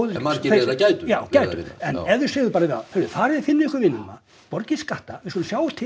en margir þeirra gætu já gætu en ef við sögðum bara við þá farið og finnið ykkur vinnu borgið skatta við skulum sjá til